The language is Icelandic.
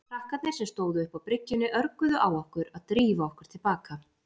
Krakkarnir sem stóðu uppi á bryggjunni örguðu á okkur að drífa okkur til baka.